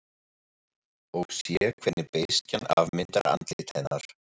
Og sé hvernig beiskjan afmyndar andlit hennar.